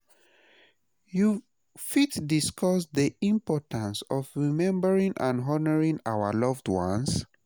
You fit discuss dey importance of remembering and honoring our loved ones?